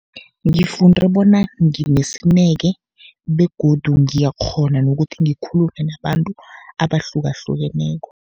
Ngifunde bona nginesineke begodu ngiyakghona nokuthi ngikhulume nabantu abahlukahlukeneko.